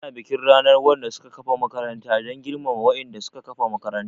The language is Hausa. Ana bikin ranar wanda suka kafa makaranta dan girmama wa'inda suka kafa makarantar